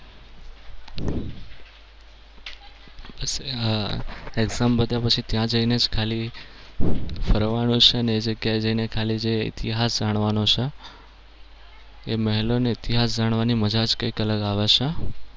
exam પત્યા પછી ત્યાં જઈને ખાલી ફરવાનું છે અને એ જગ્યા એ જઈને ખાલી ઇતિહાસ જાણવાનો છે. એ મહેલોનો ઇતિહાસ જાણવાની મજા જ કઈક અલગ આવે છે.